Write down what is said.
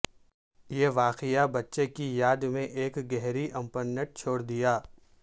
یہ واقعہ بچے کی یاد میں ایک گہری امپرنٹ چھوڑ دیا